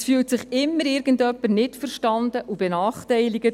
Es fühlt sich immer irgendjemand nicht verstanden und benachteiligt.